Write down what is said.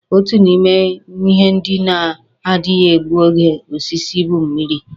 Otu n'ime ihe ndị na-adaghị egbu oge osisi bụ mmịrị.